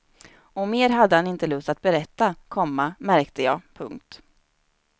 Och mer hade han inte lust att berätta, komma märkte jag. punkt